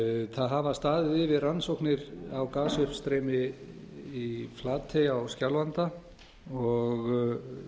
það hafa staðið yfir rannsóknir á gasuppstreymi í flatey á skjálfanda og